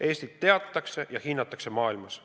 Eestit teatakse ja hinnatakse maailmas.